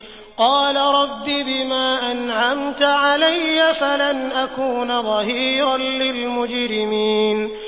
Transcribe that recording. قَالَ رَبِّ بِمَا أَنْعَمْتَ عَلَيَّ فَلَنْ أَكُونَ ظَهِيرًا لِّلْمُجْرِمِينَ